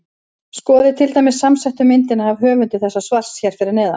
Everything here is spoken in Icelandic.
Skoðið til dæmis samsettu myndina af höfundi þessa svars hér fyrir neðan.